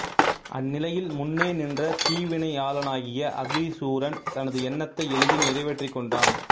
அந்நிலையில் முன்னே நின்ற தீவினையாளனாகிய அதிசூரன் தனது எண்ணத்தை எளிதில் நிறைவேற்றிக் கொண்டான்